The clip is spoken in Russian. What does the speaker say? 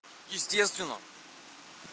естественно